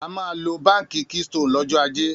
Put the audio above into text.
A máa lọ Báńkì Keystone lọ́jọ́ ajé.